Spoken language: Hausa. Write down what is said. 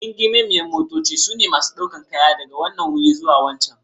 Gingimar motoci ne masu ɗaukar kaya daga wanan wuri zuwa wancan.